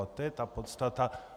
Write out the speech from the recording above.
A to je ta podstata.